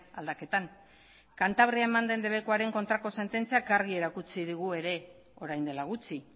aldaketan kantabrian eman den debekuaren kontrako sententziak argi erakutsi digu ere orain dela gutxi